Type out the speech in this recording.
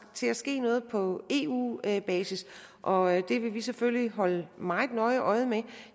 til at ske noget på eu basis og det vil vi selvfølgelig holde meget nøje øje med